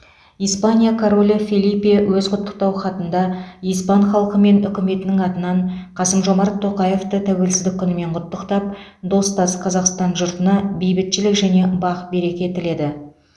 испания королі фелипе өз құттықтау хатында испан халқы мен үкіметінің атынан қасым жомарт тоқаевты тәуелсіздік күнімен құттықтап достас қазақстан жұртына бейбітшілік және бақ береке тіледі